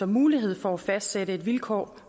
mulighed for at fastsætte vilkår